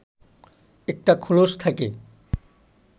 একটা খোলস থাকে